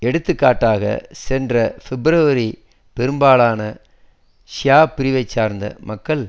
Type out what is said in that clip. எடுத்துக்காட்டாக சென்ற பிப்ரவரி பெரும்பாலான ஷியா பிரிவை சார்ந்த மக்கள்